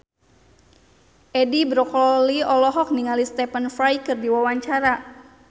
Edi Brokoli olohok ningali Stephen Fry keur diwawancara